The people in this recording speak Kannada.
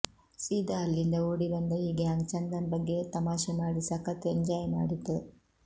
ಸೀದಾ ಅಲ್ಲಿಂದ ಓಡಿ ಬಂದ ಈ ಗ್ಯಾಂಗ್ ಚಂದನ್ ಬಗ್ಗೆ ತಮಾಷೆ ಮಾಡಿ ಸಖತ್ ಎಂಜಾಯ್ ಮಾಡಿತು